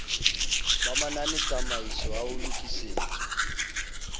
ba mananetsamaiso ha ho lokisetswa